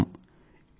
అని అర్థం